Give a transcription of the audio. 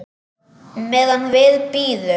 Meðan við bíðum.